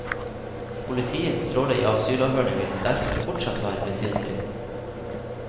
Politiets rolle i asylavhørene vil derfor fortsatt være betydelig.